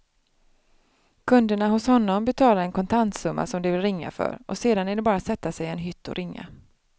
Kunderna hos honom betalar en kontantsumma som de vill ringa för och sedan är det bara att sätta sig i en hytt och ringa.